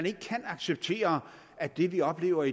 ikke kan acceptere at det vi oplever